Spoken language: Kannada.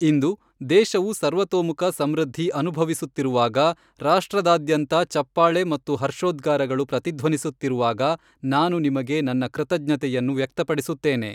ಇಂದು, ದೇಶವು ಸರ್ವತೋಮುಖ ಸಮೃದ್ಧಿ ಅನುಭವಿಸುತ್ತಿರುವಾಗ, ರಾಷ್ಟ್ರದಾದ್ಯಂತ ಚಪ್ಪಾಳೆ ಮತ್ತು ಹರ್ಷೋದ್ಗಾರಗಳು ಪ್ರತಿಧ್ವನಿಸುತ್ತಿರುವಾಗ, ನಾನು ನಿಮಗೆ ನನ್ನ ಕೃತಜ್ಞತೆಯನ್ನು ವ್ಯಕ್ತಪಡಿಸುತ್ತೇನೆ.